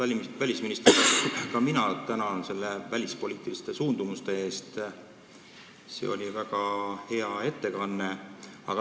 Austatud välisminister, ka mina tänan selle välispoliitiliste suundumuste ülevaate eest, see oli väga hea ettekanne!